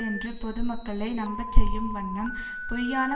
என்று பொதுமக்களை நம்பச்செய்யும் வண்ணம் பொய்யான